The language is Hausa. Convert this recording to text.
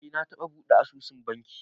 Eh, na taɓa buɗe asusun banki